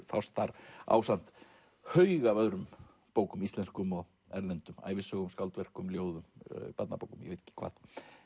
fást þar ásamt haug af öðrum bókum íslenskum og erlendum ævisögum skáldverkum ljóðum barnabókum og ég veit ekki hvað